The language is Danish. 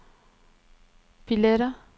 billetter